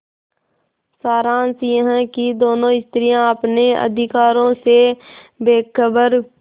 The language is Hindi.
सारांश यह कि दोनों स्त्रियॉँ अपने अधिकारों से बेखबर